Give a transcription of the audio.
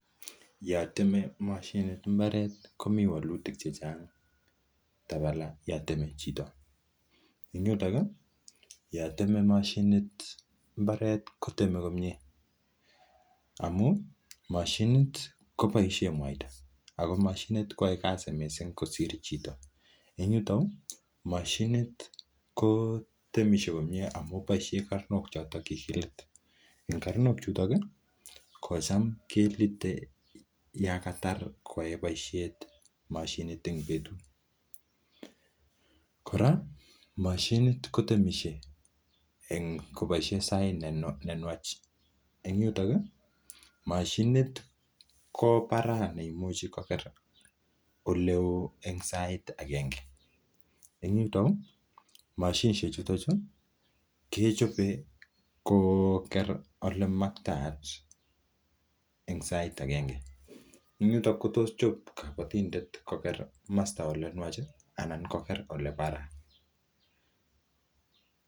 Yo teme mashinit mbaret komi wolutik che chang tabala yo temei chito ing yutok yo temei mashinit mbaret kotemei komie amu mashinit koboishe muaita ako mashinit koyoe kasi mising kosir chito eng yuto moshinit kotemishe komie amu boishet karnok choto che kikilit karnok chutok ko cham kelitei yo katar koyoe boishet mashinit eng betut kora mashinit kotemishei koboisie sait nenwach eng yutok mashinit ko paraa neimuchi kopete oleo eng sait akenge eng yuto mashinishek chuto chu kechopen koker olemaktaat eng sait akenge ing yutok ko tos chop kobotindet koker komosta ole imwach anan koker ole paraa